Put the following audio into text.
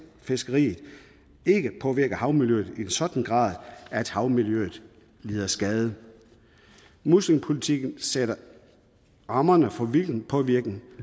fiskeriet ikke påvirker havmiljøet i en sådan grad at havmiljøet lider skade muslingepolitikken sætter rammerne for hvilken påvirkning